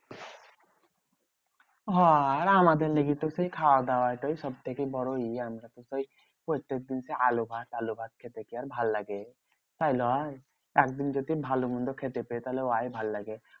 হ্যাঁ আর আমাদের লেগে তো সেই খাওয়া দাওয়াটাই সবথেকে বড় ই। আমরা তো সেই প্রত্যেক দিন সেই আলু ভাত আলু ভাত খেতে কি আর ভাললাগে? তাই লয়? একদিন যদি ভালো মন্দ খেতে পেয়ে তাহলে ওয়াই ভাললাগে।